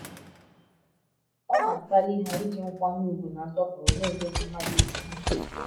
Ọ na - akpali ha iji nkwanye ùgwù na nsọpụrụ na - emeso mmadụ ibe ha ihe.